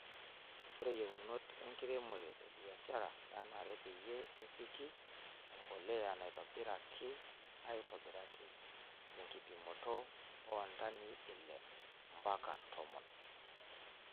Ore yieunot enkiremore ebiashara nenare peyie epiki empuliya naitobiraki aitobiraki tenkipimoto oo ntanii ile ompaka tomon.